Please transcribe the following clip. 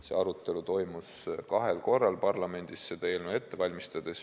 See arutelu toimus kahel korral parlamendis, kui seda eelnõu ette valmistati.